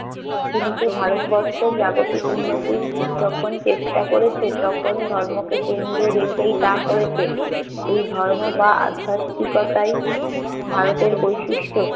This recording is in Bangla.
কিন্তু ভারতবর্ষ জাগতিক উন্নতির যখন চেষ্টা করেছে তখন ধর্মকে কেন্দ্রে রেখেই তা করেছে। এই ধর্ম বা আধ্যাত্মিকতাই ভারতের বৈশিষ্ট্য।